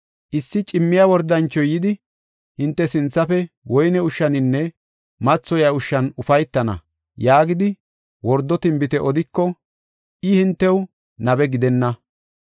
Issi cimmiya wordanchoy yidi, ‘Hinte sinthafe woyne ushshaninne mathoyiya ushshan ufaytana’ yaagidi wordo tinbite odiko, I hintew nabe gidana.